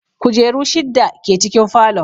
Kujeru shidda ke cikin falon